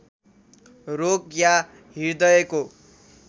रोग या हृदयको